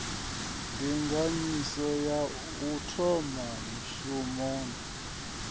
ndinganyiso ya u thola mishumoni